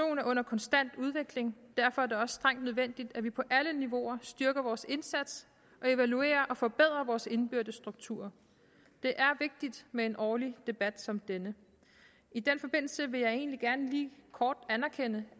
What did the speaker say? er under konstant udvikling derfor er det også strengt nødvendigt at vi på alle niveauer styrker vores indsats og evaluerer og forbedrer vores indbyrdes strukturer det er vigtigt med en årlig debat som denne i den forbindelse vil jeg egentlig gerne lige kort anerkende